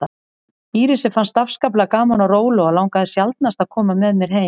Írisi fannst afskaplega gaman á róló og langaði sjaldnast að koma með mér heim.